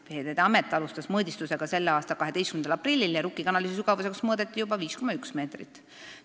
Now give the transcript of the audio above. Veeteede Amet alustas mõõdistusi selle aasta 12. aprillil ja Rukki kanali sügavuseks mõõdeti juba 5,1 meetrit.